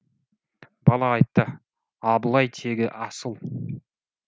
бала айтты абылай тегі асыл